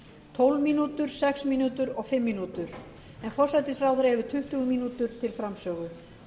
tólf mínútur sex mínútur og fimm mínútur en forsætisráðherra hefur tuttugu mínútur til framsögu